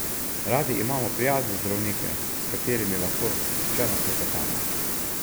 Radi imamo prijazne zdravnike, s katerimi lahko sproščeno klepetamo.